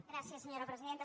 gràcies senyora presidenta